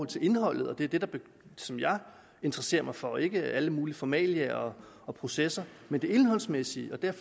til indholdet og det er det som jeg interesserer mig for ikke alle mulige formalia og og processer men det indholdsmæssige og der er